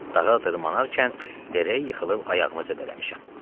Dağa dırmanarkən dərə yıxılıb ayağımı zədələmişəm.